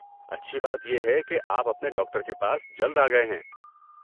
اچھی بات یہ ہے کہ آپ اپنے ڈاکٹر کے پاس جلد آ گئے ہیں۔